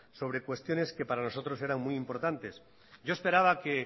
sobre cuestiones que para nosotros eran muy importantes yo esperaba que